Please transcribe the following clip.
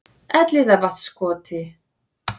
Elliðavatnskoti